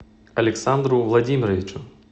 александру владимировичу